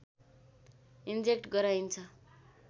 inject गराइन्छ